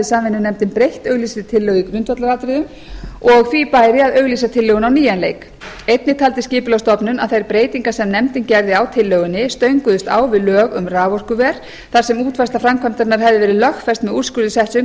samvinnunefndin breytt auglýstri tillögu í grundvallaratriðum og því bæri að auglýsa tillöguna á nýjan leik einnig taldi skipulagsstofnun að þær breytingar sem nefndin gerði á tillögunni stönguðust á við lög um raforkuver þar sem útfærsla framkvæmdarinnar hefði verið lögfest með úrskurði setts umhverfisráðherra